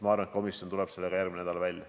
Ma arvan, et komisjon tuleb sellega järgmine nädal välja